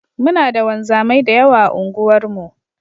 Muna da wanzamai da yawa a unguwarmu.